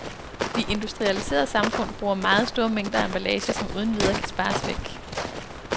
De industrialiserede samfund bruger meget store mængder af emballage, som uden videre kan spares væk.